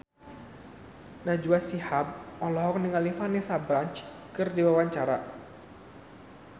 Najwa Shihab olohok ningali Vanessa Branch keur diwawancara